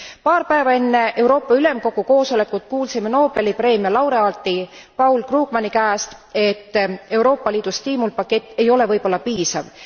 Paar päeva enne Euroopa Ülemkogu koosolekut kuulsime Nobeli preemia laureaadi Paul Krugmani käest, et Euroopa Liidu stiimulpakett ei ole võib olla piisav.